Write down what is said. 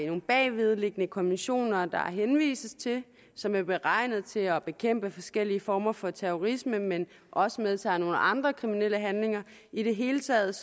nogle bagvedliggende konventioner der henvises til som er beregnet til at bekæmpe forskellige former for terrorisme men også medtager nogle andre kriminelle handlinger i det hele taget